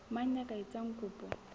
mang ya ka etsang kopo